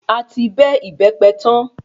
A ti bẹ ìbẹ́pẹ tan